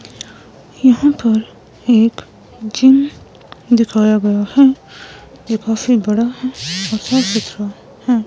यहां पर एक जिम दिखाया गया है जो काफी बड़ा है और--